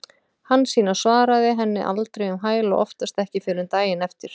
Hansína svaraði henni aldrei um hæl og oftast ekki fyrr en daginn eftir.